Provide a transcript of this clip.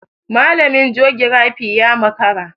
Malamin jogirafi ya makara.